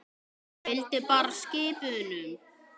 Ég fylgdi bara skip unum.